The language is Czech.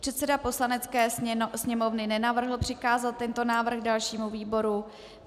Předseda Poslanecké sněmovny nenavrhl přikázat tento návrh dalšímu výboru.